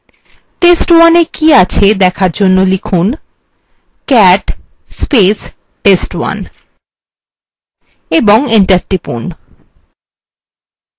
test1 we কি আছে দেখার আমরা লিখুন